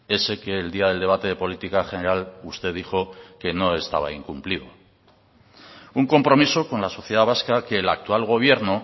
ese que el día del debate de política general usted dijo que no estaba incumplido un compromiso con la sociedad vasca que el actual gobierno